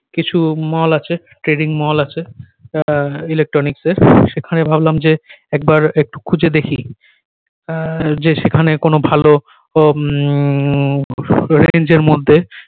কিছু mall আছে trading mall আছে এ electronics এর সেখানে ভাবলাম যে একবার একটু খুঁজে দেখি আহ যে সেখানে কোনো ভালো উম range এর মধ্যে